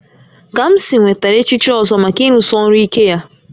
Kamsi nwetara echichi Ozo maka ịrụsi ọrụ ike ya